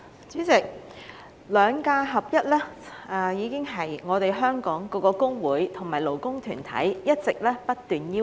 主席，"兩假合一"是香港各工會及勞工團體一直不斷提出的要求。